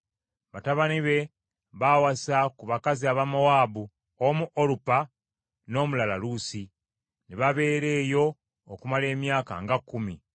Batabani be baawasa ku bakazi Abamowaabu, omu Olupa, n’omulala Luusi, ne babeera eyo okumala emyaka nga kkumi.